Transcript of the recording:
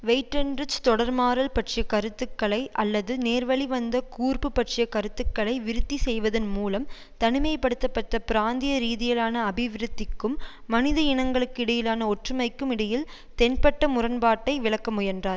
Weidenreich தொடர்மாறல் பற்றிய கருத்துக்களை அல்லது நேர்வழிவந்த கூர்ப்பு பற்றிய கருத்துக்களை விருத்தி செய்வதன் மூலம் தனிமை படுத்த பட்ட பிராந்திய ரீதியிலான அபிவிருத்திக்கும் மனித இனங்களுக்கிடையிலான ஒற்றுமைக்கும் இடையில் தென்பட்ட முரண்பாட்டை விளக்க முயன்றார்